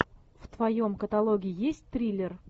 в твоем каталоге есть триллер